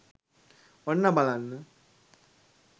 ඔන්න බලන්න